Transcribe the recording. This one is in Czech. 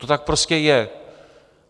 To tak prostě je.